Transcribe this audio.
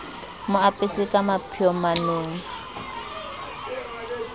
mo apese ka mapheo manong